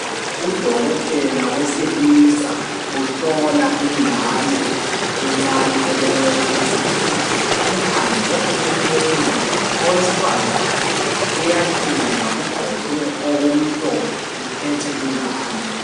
Udokotela wesilisa uhlola ingane encane elenwele ezinkulu. Emkhangele emehlweni. Owesifazane uyahleka. Ugqoke okumhlophe. Uphethe ingane.